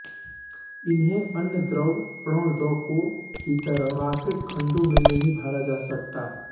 इन्हें अन्य द्रव प्रणोदकों की तरह रॉकेट खंडों में नहीं भरा जा सकता